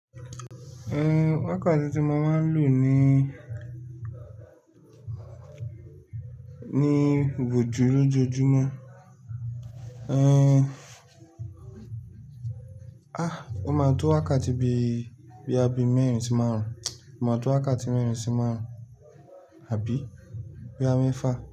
Ehn wákàtí tí mo máa ń lò ní, ní ibojú lójoojúmọ́. Eh, ah wọ́n máa ń to wákàtí bí, boya bí mẹ́rin sí márùn-ún, wọ́n máa to wákàtí mẹ́rin sí márùn-ún, àbí boya mẹẹ́fà.